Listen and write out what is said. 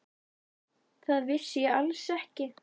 Það vissi ég alls ekki.